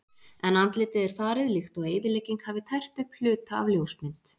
En andlitið er farið líkt og eyðilegging hafi tært upp hluta af ljósmynd.